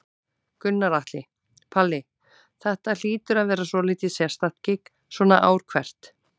Gunnar Atli: Palli, þetta hlýtur að vera svolítið sérstakt gigg svona ár hvert?